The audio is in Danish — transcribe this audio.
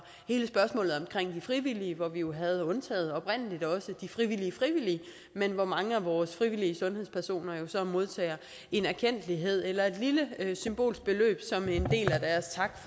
og de frivillige hvor vi jo havde undtaget de frivillige frivillige men hvor mange af vores frivillige sundhedspersoner jo så modtager en erkendtlighed eller et lille symbolsk beløb som en del